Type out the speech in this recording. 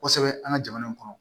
Kosɛbɛ an ka jamana in kɔnɔ